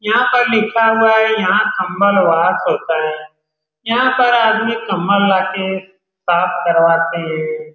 यहाँ पर लिखा हुआ है यहाँ कम्बल वाश होता है यहाँ पर आदमी कम्बल लाते है साफ़ करवाते है ।